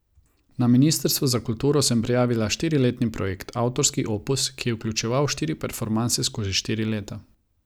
Na ministrstvu za kulturo sem prijavila štiriletni projekt, avtorski opus, ki je vključeval štiri performanse skozi štiri leta.